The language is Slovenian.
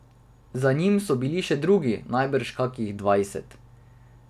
Za njim so bili še drugi, najbrž kakih dvajset.